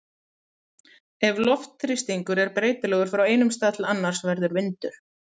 Ef loftþrýstingur er breytilegur frá einum stað til annars verður vindur.